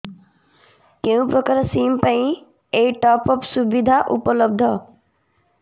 କେଉଁ ପ୍ରକାର ସିମ୍ ପାଇଁ ଏଇ ଟପ୍ଅପ୍ ସୁବିଧା ଉପଲବ୍ଧ